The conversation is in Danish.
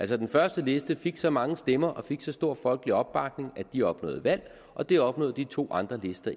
den første liste fik så mange stemmer og fik så stor folkelig opbakning at den opnåede valg og det opnåede de to andre lister